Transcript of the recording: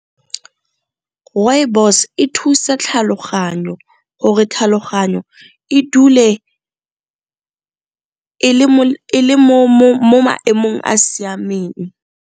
Rooibos e thusa tlhaloganyo gore tlhaloganyo e dule e le mo maemong a siameng.